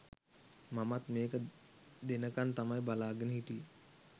මමත් මේක දෙනකන් තමයි බලාගෙන හිටියෙ.